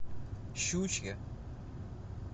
щучье